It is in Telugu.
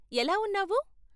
ఎలా ఉన్నావు?